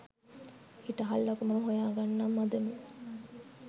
හිටහල්ලකෝ මම හොයාගන්නම් අදම